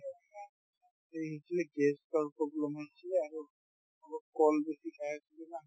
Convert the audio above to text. actually gas ৰ problem হল কিয়বা হল আৰু সম্ভব কল বেছি খাই দিলো না